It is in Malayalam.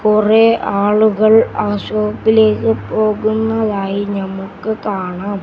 കൊറേ ആളുകൾ ആ ഷോപ്പിലേക്ക് പോകുന്നതായി ഞമ്മുക്ക് കാണാം.